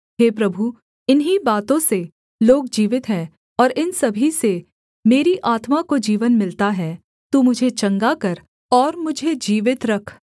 हे प्रभु इन्हीं बातों से लोग जीवित हैं और इन सभी से मेरी आत्मा को जीवन मिलता है तू मुझे चंगा कर और मुझे जीवित रख